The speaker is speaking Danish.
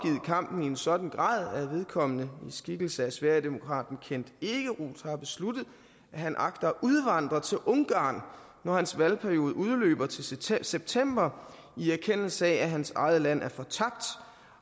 kampen i en sådan grad at vedkommende i skikkelse af sverigedemokraten kent ekeroth har besluttet at han agter at udvandre til ungarn når hans valgperiode udløber til september september i erkendelse af at hans eget land er fortabt